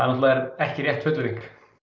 ekki rétt fullyrðing